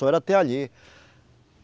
Só era até ali.